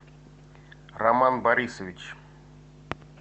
роман борисович